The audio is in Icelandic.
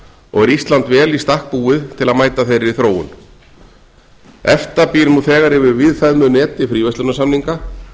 og er ísland vel í stakk búið til að mæta þeirri þróun efta býr nú þegar yfir víðfeðmu neti fríverslunarsamninga